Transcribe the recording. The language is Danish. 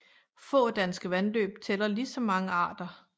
Få danske vandløb tæller lige så mange arter